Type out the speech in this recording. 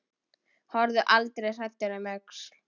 Horfðu aldrei hræddur um öxl!